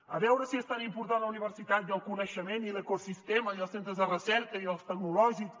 a veure si és tan important la universitat i el coneixement i l’ecosistema i els centres de recerca i els tecnològics